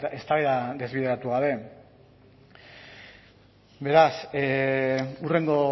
eztabaida desbideratu gabe beraz hurrengo